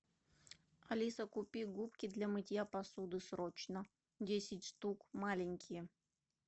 алиса купи губки для мытья посуды срочно десять штук маленькие